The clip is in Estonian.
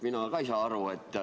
Mina ka ei saa aru.